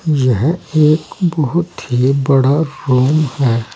यह एक बहुत ही बड़ा रूम है।